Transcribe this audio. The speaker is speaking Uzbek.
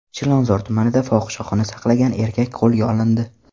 Chilonzor tumanida fohishaxona saqlagan erkak qo‘lga olindi.